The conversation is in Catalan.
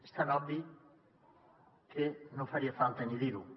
és tan obvi que no faria falta ni dir ho